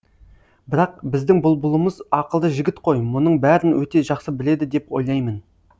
бірақ біздің бұлбұлымыз ақылды жігіт қой мұның бәрін өте жақсы біледі деп ойлаймын